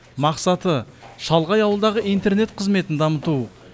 мақсаты шалғай ауылдағы интернет қызметін дамыту